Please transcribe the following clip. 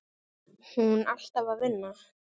Hún alltaf að vinna.